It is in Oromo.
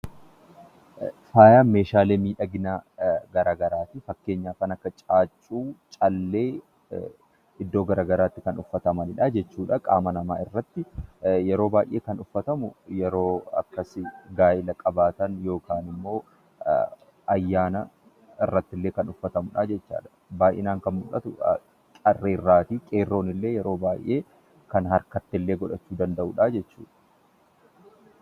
Faaya meeshaalee miidhaginaa garaa garaa fi fakkeenyaaf kan akka: caaccuu, callee iddoo gara garaatti kan uffatamanidha jechuudha. Qaama namaa irratti yeroo baay'ee kan uffatamu gaafa gaa'elaa, dhalootaa fa'i uffatama. Baay'inaan qarreen in uffatu; qeerroonis kan harkatti godhatan qabu.